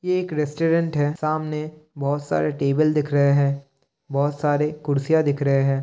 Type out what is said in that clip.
ये एक रेस्टुरेंट है। सामने बहोत सारे टेबुल दिख रहे हैं बहोत सारे कुर्सियां दिख रहे हैं।